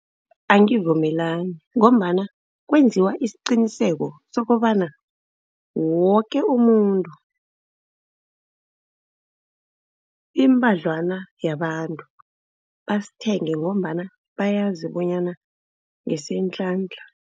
Angivumelani, ngombana kwenziwa isiqiniseko sokobana woke umuntu, imbadlwana yabantu basithenge ngombana bayazi bonyana ngesentlantla.